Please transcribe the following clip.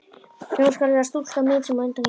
Sú skal vera stúlkan mín, sem á undan gengur.